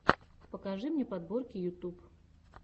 покажи мне подборки ютуб